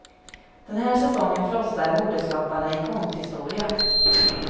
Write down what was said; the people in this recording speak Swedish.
Den här säsongen frossar modeskaparna i konsthistoria.